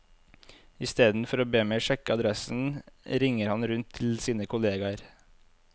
Istedenfor å be meg sjekke adressen, ringer han rundt til sine kollegaer.